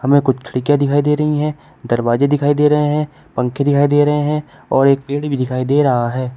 हमें कुछ खिड़कियाँ दिखाई दे रही हैं दरवाज़े दिखाई दे रहे हैं पंखे दिखाई दे रहे हैं और एक गेट भी दिखाई दे रहा है।